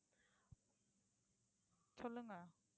சொல்லுங்க